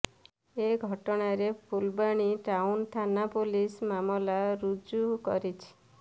ଏ ଘଟଣାରେ ଫୁଲବାଣୀ ଟାଉନ୍ ଥାନା ପୁଲିସ ମାମଲା ରୁଜୁ କରିଛି